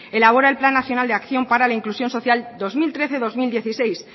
elabora el plan nacional de acción para la inclusión social dos mil trece dos mil dieciséis